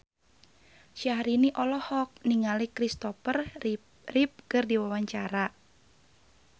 Syahrini olohok ningali Christopher Reeve keur diwawancara